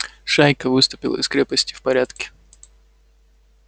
шайка выступила из крепости в порядке